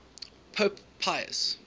pope pius